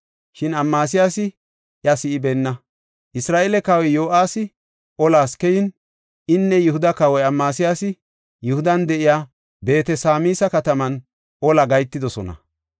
Shin Amasiyaasi iya si7ibeenna. Isra7eele kawoy Yo7aasi olas keyin, inne Yihuda kawoy Amasiyaasi Yihudan de7iya Beet-Sameesa kataman ola gahetidosona.